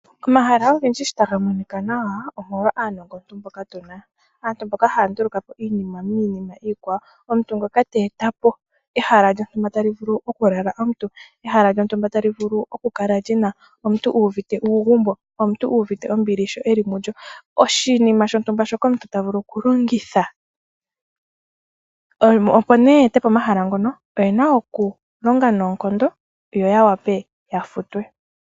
Omahala ogendji shi tagamonika nawa, omolwa aanongoki mboka tuna. Aantu mboka ha ya ndulukapo iinima okuza miinima iikwawo, omuntu ngoka teetapo ehala ta li vuvlu oku lala omuntu, ehala ta livulu oku kala omuntu uuvite uugumbo nombili sho eli mulyo, oshinima shontumba omuntu tavulu okulongitha. Opo nee ye etepo omahala ngono, oyena okulonga noonkondo, yo yavule oku futwa.